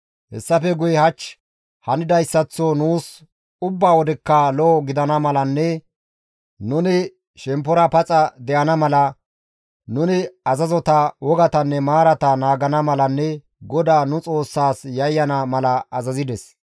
Hessafe guye hach hanidayssaththo nuus ubba wodekka lo7o gidana malanne nuni shemppora paxa de7ana mala, nuni azazota, wogatanne maarata naagana malanne GODAA nu Xoossaas yayyana mala azazides.